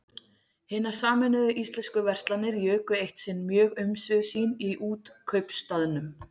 Hinar sameinuðu íslensku verslanir juku eitt sinn mjög umsvif sín í Útkaupstaðnum.